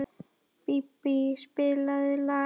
Bíbí, spilaðu lag.